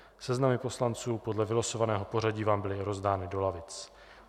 Seznamy poslanců podle vylosovaného pořadí vám byly rozdány do lavic.